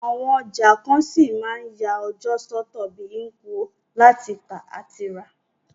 Àwon ọjà kan ṣí ma n ya ọjọ́ sọ́tọ̀ bi Nkwo, láti tà àti rà